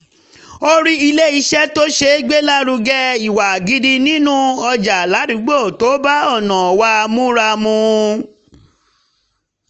a rí ilé iṣẹ́ tó ṣègbélárugẹ ìwà gidi nínú ọjà ládùúgbò tó bá ọ̀nà wa múra mu